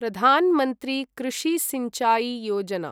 प्रधान् मन्त्री कृषि सिंचाई योजना